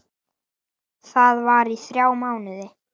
Var þar í þrjá mánuði.